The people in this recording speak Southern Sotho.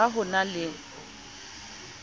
a ha ho na le